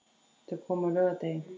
Þau komu á laugardegi.